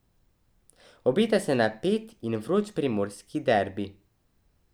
Obeta se napet in vroč primorski derbi.